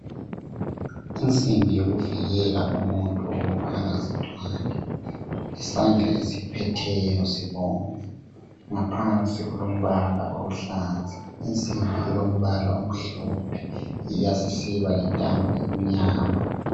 Insimbi yokuvikela umuntu ukuba angazithwali isandla esiphetheyo esiphetheyo sibomvu ngaphansi kulombala oluhlaza insimbi ilombala omhlophe yasisiba lentambo emnyama